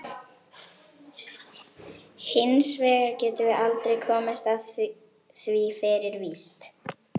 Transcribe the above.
Hins vegar getum við aldrei komist að því fyrir víst.